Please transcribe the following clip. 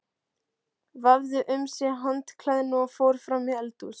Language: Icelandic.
Vafði um sig handklæðinu og fór fram í eldhús.